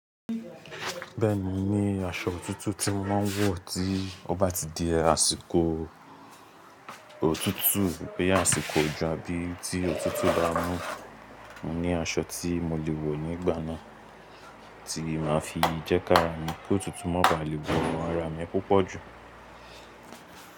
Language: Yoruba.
Bẹ́ẹ̀ni mo ní aṣọ òtútù tí mo máa ń wọ̀ tí ó bá ti di àsìkò òtútù pé àsìkò òjò àbí tí òtútù bá mú. Mo ní aṣọ tí mo lè wọ̀ nígbà náà tí máa fi jẹ́kára mi kí òtútù má bà lè wo ara mi púpọ̀ jù.